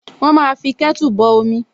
Wọ́n máa fí kẹ́tù bọ omi